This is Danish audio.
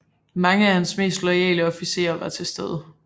Mange af hans mest loyale officerer var til stede